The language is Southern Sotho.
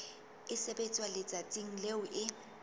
e sebetswa letsatsing leo e